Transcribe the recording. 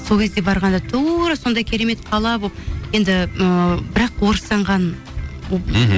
сол кезде барғанда тура сондай керемет қала болып енді ыыы бірақ орыстанған мхм